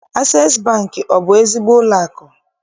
Asees Bankị, ọ bụ ezigbo ụlọakụ?